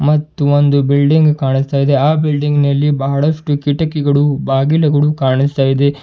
ಮತ್ತು ಒಂದು ಬಿಲ್ಡಿಂಗ್ ಕಾಣಿಸ್ತಾಇದೆ ಆ ಬಿಲ್ಡಿಂಗ್ ನಲ್ಲಿ ಬಹಳಷ್ಟು ಕಿಟಕಿಗಳು ಬಾಗಿಲುಗಳು ಕಾಣಿಸ್ತಾಇದೆ.